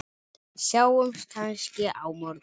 Sjáumst kannski á morgun!